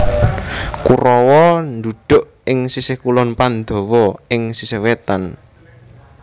Kurawa ndhuduk ing sisih kulon Pandhawa ing sisih wetan